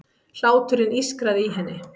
Hláturinn ískraði í henni.